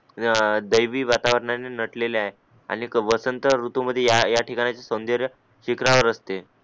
देव देवी वातावरना ने नटलेला आहे आणि वसंत ऋतू मध्ये या या ठिकाणचे सावनदाऱ्या शिखरावर असते